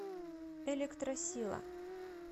электросила